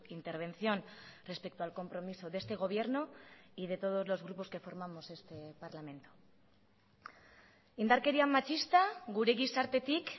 intervención respecto al compromiso de este gobierno y de todos los grupos que formamos este parlamento indarkeria matxista gure gizartetik